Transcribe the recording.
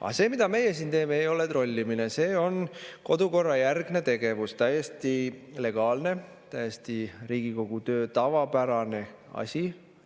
Aga see, mida meie siin teeme, ei ole trollimine, see on kodukorrajärgne tegevus, täiesti legaalne, Riigikogu töös täiesti tavapärane asi,